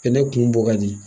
Fini kun bɔ ka jigin